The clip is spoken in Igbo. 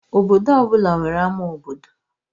Obodo ọ bụla nwere ama obodo.